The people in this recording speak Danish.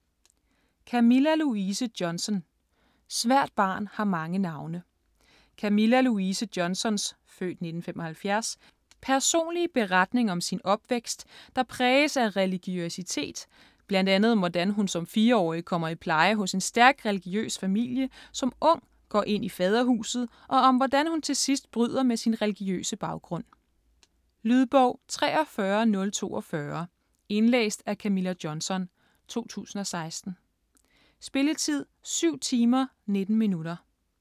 Johnson, Camilla Louise: Svært barn har mange navne Camilla Louise Johnsons (f. 1975) personlige beretning om sin opvækst, der præges af religiøsitet, bl.a. om hvordan hun som fireårig kommer i pleje hos en stærk religiøs familie, som ung går ind i Faderhuset, og om hvordan hun til sidst bryder med sin religiøse baggrund. Lydbog 43042 Indlæst af Camilla Johnson, 2016. Spilletid: 7 timer, 19 minutter.